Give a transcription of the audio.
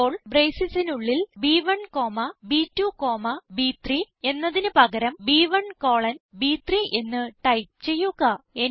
ഇപ്പോൾ bracesസിസിന് ഉള്ളിൽ ബ്1 കോമ ബ്2 കോമ ബ്3 എന്നതിന് പകരം ബ്1 കോളൻ ബ്3 എന്ന് ടൈപ്പ് ചെയ്യുക